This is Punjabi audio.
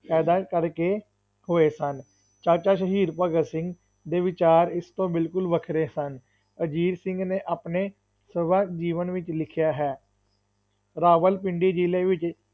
ਕਰਕੇ ਹੋਏ ਸਨ, ਚਾਚਾ ਸ਼ਹੀਦ ਭਗਤ ਸਿੰਘ ਦੇ ਵਿਚਾਰ ਇਸ ਤੋਂ ਬਿਲਕੁਲ ਵੱਖਰੇ ਸਨ, ਅਜੀਤ ਸਿੰਘ ਨੇ ਆਪਣੇ ਸਰਬੱਤ ਜੀਵਨ ਵਿੱਚ ਲਿਖਿਆ ਹੈ, ਰਾਵਲਪਿੰਡੀ ਜ਼ਿਲ੍ਹੇ ਵਿੱਚ,